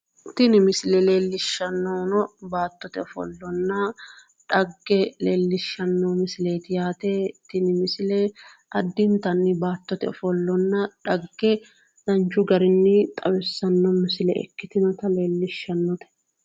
Tini misile leellishshannohuno baattote ofollonna dhagge leellishshano misileeti yaate tini misile addintaani baattote ofollonna dhagge danchu garinni xawissanno misile ikkitinota leellishshannote